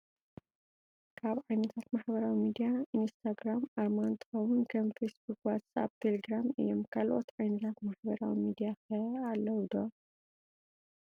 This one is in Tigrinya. ካብ ዓይነታት ማሕበራዊ ሚድያ ኢንስታ ግራም ኣርማ እተከውን ከም ፌስ ቡክ፣ ዋትስኣፕ፣ ቴሌግራም እዩም። ካልኦት ዓይነታት ማሕበራዊ ሚድያ ከ ኣለው ዶ?